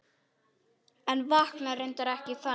En vaknaði reyndar ekki þannig.